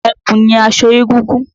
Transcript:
Ẹ̀kú ni aṣọ egúngún.